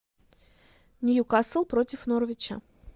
ньюкасл против норвича